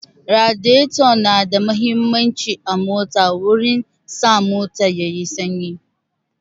Radiyato na da muhimmanci a mota wurin sa mota yayi sanyi